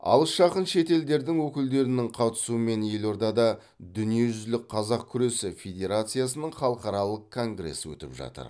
алыс жақын шет елдердің өкілдерінің қатысуымен елордада дүниежүзілік қазақ күресі федерациясының халықаралық конгресі өтіп жатыр